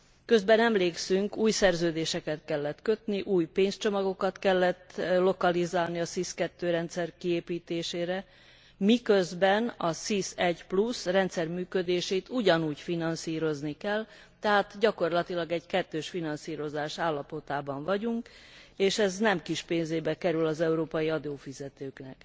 Közben, emlékszünk, új szerződéseket kellett kötni, új pénzcsomagokat kellett lokalizálni a SIS II rendszer kiépítésére, miközben a SIS I rendszer működését ugyanúgy finanszírozni kell, tehát gyakorlatilag egy kettős finanszírozás állapotában vagyunk, és ez nem kis pénzébe kerül az európai adófizetőknek.